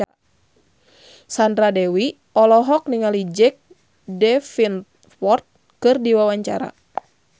Sandra Dewi olohok ningali Jack Davenport keur diwawancara